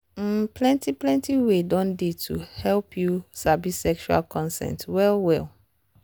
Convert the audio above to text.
um plenty plenty way don dey to help you sabi sexual consent well well.